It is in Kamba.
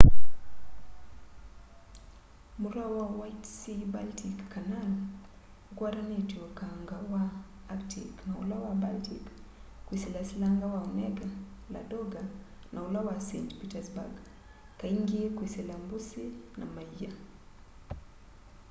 mutau wa white sea-baltic canal ukwatanitye ukanga wa arctic na ula wa baltic kwisila silanga wa onega ladoga na ula wa saint petersburg kaingi kwisila mbusi na maia